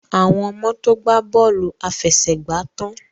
Àwon ọmọ to gbà Bọ́ọ̀lù àfẹsẹ̀gbá tán.